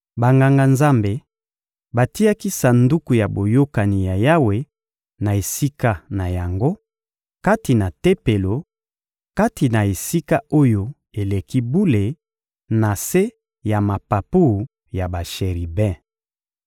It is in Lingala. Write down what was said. Banganga-Nzambe batiaki Sanduku ya Boyokani ya Yawe na esika na yango, kati na Tempelo, kati na Esika-Oyo-Eleki-Bule, na se ya mapapu ya basheribe.